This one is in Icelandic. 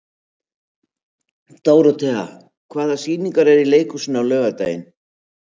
Dórothea, hvaða sýningar eru í leikhúsinu á laugardaginn?